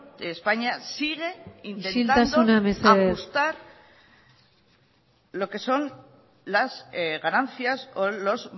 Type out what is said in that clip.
de españa sigue intentando isiltasuna mesedez ajustar lo que son las ganancias o los